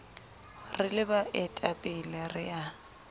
re le baetapele re a